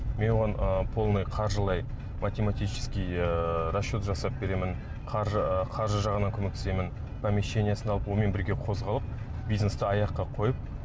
мен оған ыыы полный қаржылай математический ыыы расчет жасап беремін ы қаржы жағынан көмектесемін помещениесын алып онымен бірге қозғалып бизнесті аяққа қойып